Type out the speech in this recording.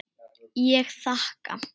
Ég þakka.